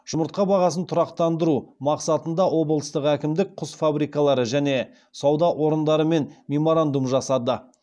жұмыртқа бағасын тұрақтандыру мақсатында облыстық әкімдік құс фабрикалары және сауда орындарымен меморандум жасады